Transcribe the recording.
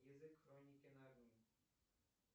язык хроники нарнии